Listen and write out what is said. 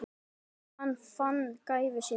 Þegar hann fann gæfu sína.